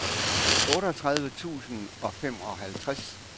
otteogtredive tusind og femoghalvtreds